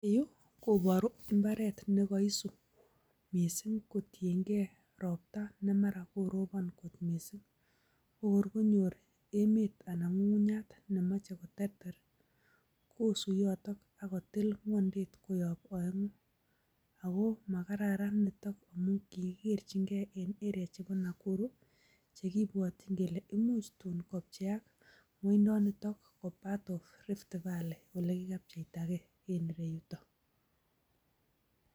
Yu koboru mbaret ne kaisuu mising kotiyen ge ropta ne mara koron mising. Konyor emet anan ko ng'ung'nyat nemoche koteeter kosuu yoton ak kotil ng'wonydet koyob oeng'u. Ago makaran nito amun kigikerenge en area chebo Nakuru chekibwotyin kole imuch tun kopcheak ngwonyndonito ko part of Riftvalley ole kigapyechtage en ireyuto.